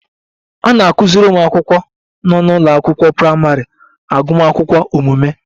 A na-akụziri ụmụ akwụkwọ nọ n'ụlọ akwụkwọ praịmarị agụmakwụkwọ omume